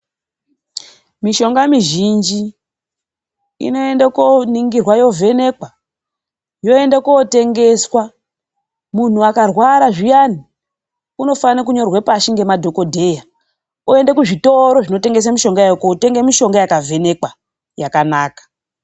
Mishonga mizhinji inoende kooningirwa yovhenekwa. Yoende kootengeswa. Muntu akarwara zviyani, unofane kunyorerwe pashi nemadhokodheya. Oende kuzvitoro zvinotengese mishonga, kootenge mishonga yakavhenekwa, yakanaka.